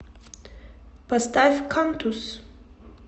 поставь кантус